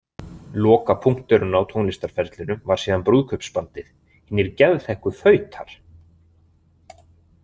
Lokapunkturinn á tónlistarferlinum var síðan brúðkaupsbandið „Hinir geðþekku fautar“.